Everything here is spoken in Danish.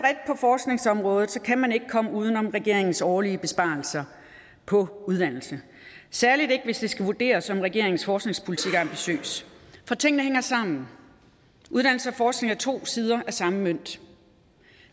forskningsområdet kan man ikke komme uden om regeringens årlige besparelser på uddannelse særlig ikke hvis det skal vurderes om regeringens forskningspolitik er ambitiøs for tingene hænger sammen uddannelse og forskning er to sider af samme mønt